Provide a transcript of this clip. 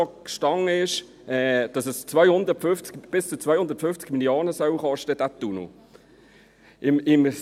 Dort stand, dass dieser Tunnel bis zu 250 Mio. Franken kosten soll.